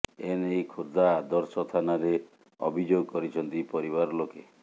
ଏନେଇ ଖୋର୍ଦ୍ଧା ଆଦର୍ଶ ଥାନାରେ ଅଭିଯୋଗ କରିଛନ୍ତି ପରିବାର ଲୋକେ